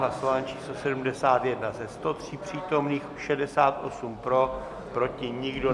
Hlasování číslo 71, ze 103 přítomných 68 pro, proti nikdo.